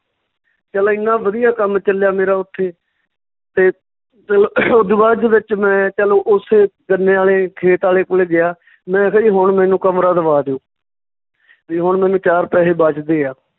ਚੱਲ ਏਨਾਂ ਵਧੀਆ ਕੰਮ ਚੱਲਿਆ ਮੇਰਾ ਉੱਥੇ ਤੇ ਚੱਲੋ ਓਦੋ ਬਾਅਦ ਦੇ ਵਿੱਚ ਮੈਂ ਚਲੋ ਉਸੇ ਗੰਨੇ ਆਲੇ ਖੇਤ ਆਲੇ ਕੋਲੇ ਗਿਆ ਮੈਂ ਕਿਹਾ ਜੀ ਹੁਣ ਮੈਨੂੰ ਕਮਰਾ ਦਵਾ ਦਓ ਵੀ ਹੁਣ ਮੈਨੂੰ ਚਾਰ ਪੈਸੇ ਬਚਦੇ ਆ